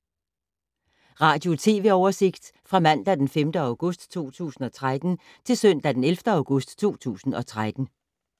Radio/TV oversigt fra mandag d. 5. august 2013 til søndag d. 11. august 2013